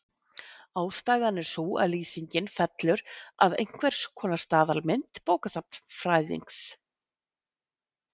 ástæðan er sú að lýsingin fellur að einhvers konar staðalmynd bókasafnsfræðings